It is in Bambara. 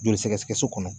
Joli sɛgɛsɛgɛ so kɔnɔ